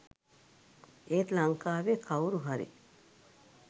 එත් ලංකාවේ කව්රු හරි